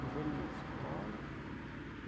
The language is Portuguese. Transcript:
Pusemos na escola, tudo.